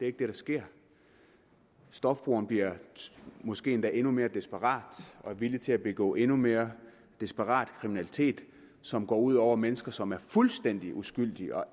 ikke det der sker stofbrugeren bliver måske endda endnu mere desperat og er villig til at begå endnu mere desperat kriminalitet som går ud over mennesker som er fuldstændig uskyldige og